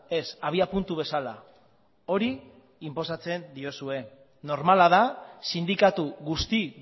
ez abiapuntu bezala hori inposatzen diozue normala da sindikatu guzti